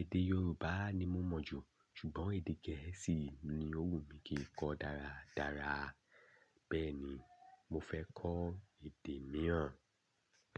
Èdè Yorùbá ni mo mọ̀ jú, ṣùgbọ́n èdè Gẹ̀ẹ́sì ni ó wù mí kí n kọ dáradára. Bẹ́ẹ̀ ni, mo fẹ́ kọ́ èdè mìíràn.